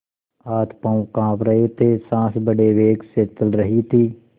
हाथपॉँव कॉँप रहे थे सॉँस बड़े वेग से चल रही थी